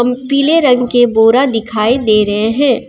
पीले रंग के बोरा दिखाई दे रहे हैं।